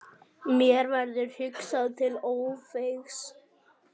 Mér verður hugsað til Ófeigs.